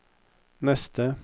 neste